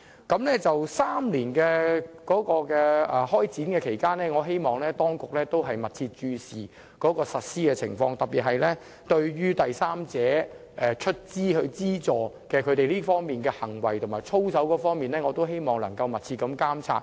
至於在為期3年的首段期間，我希望當局會密切注視實施情況，特別是對第三方資助的行為和操守，必須有密切監察。